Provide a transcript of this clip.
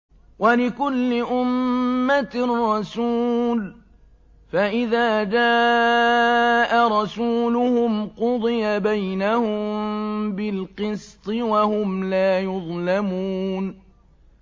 وَلِكُلِّ أُمَّةٍ رَّسُولٌ ۖ فَإِذَا جَاءَ رَسُولُهُمْ قُضِيَ بَيْنَهُم بِالْقِسْطِ وَهُمْ لَا يُظْلَمُونَ